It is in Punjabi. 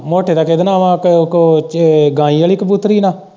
ਮੋਟੇ ਦਾ ਕਿੱਦੇ ਨਾਲ਼ ਏ ਕ ਕ ਚ ਗਾਂਈ ਵਾਲ਼ੀ ਕਬੂਤਰੀ ਨਾਲ਼।